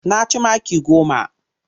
Na ci maki goma.